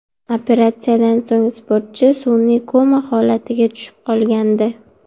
Operatsiyadan so‘ng sportchi sun’iy koma holatiga tushib qolgandi.